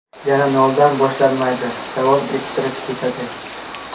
Yana noldan boshlanmaydi, davom ettirib ketadi.